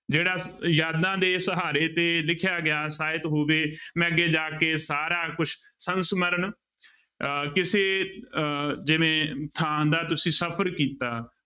ਜਿਹੜਾ ਯਾਦਾਂ ਦੇ ਸਹਾਰੇ ਤੇ ਲਿਖਿਆ ਗਿਆ ਸਾਹਿਤ ਹੋਵੇ ਮੈਂ ਅੱਗੇ ਜਾ ਕੇ ਸਾਰਾ ਕੁਛ ਸੰਸਮਰਨ ਅਹ ਕਿਸੇ ਅਹ ਜਿਵੇਂ ਥਾਂ ਦਾ ਤੁਸੀਂ ਸਫ਼ਰ ਕੀਤਾ।